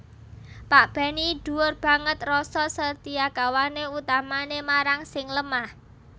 Pak Benny dhuwur banget rasa setiakawané utamané marang sing lemah